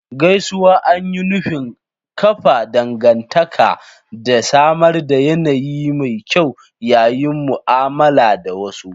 Gaisuwa an yi nufin kafa dangantaka da samar da yanayi mai kyau yayin mu'amala da wasu.